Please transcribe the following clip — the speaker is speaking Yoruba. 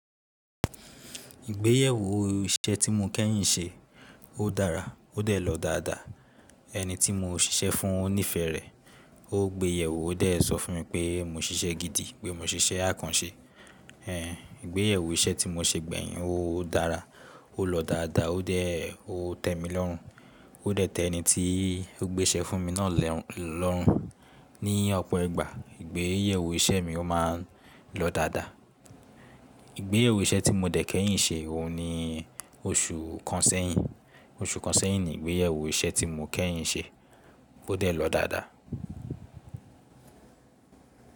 Ìgbéyewó iṣẹ́ tí mo kẹ́yìn ṣe, ó dára, ó dẹ̀ lọ dáadáa. Ẹni tí mo ṣiṣẹ́ fún ó nífẹ̀ẹ́ rẹ̀, ó gbéyẹ̀wò ó dẹ̀ sọ fún mi pé mo ṣiṣẹ́ gidi, pé mo ṣiṣẹ́ àkànṣe. Ehn, ìgbéyẹ́wó iṣẹ́ tí mo ṣe gbẹ̀yìn, ó dára, ó lọ dáadáa, ó dẹ̀ o tẹ̀ mí lọ́rùn, ó dẹ̀ tẹ ẹniti ó gbéṣẹ́ fún mi náà lọ́rùn. Ni ọ̀pọ̀ ìgbà ìgbéyẹ́wó iṣẹ́ mi ó máa ń lọ dáadáa. Ìgbéyẹ́wó iṣẹ́ tí mo dè kẹ́yìn ṣe, òun ni oṣù kan sẹ́yìn. Oṣù kan sẹ́yìn ní Ìgbéyẹ́wó iṣẹ́ tí mo kẹ́yìn ṣe, ó dẹ̀ lọ dáadáa.